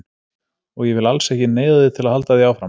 Og ég vil alls ekki neyða þig til að halda því áfram.